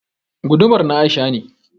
Gudumar na Aisha ne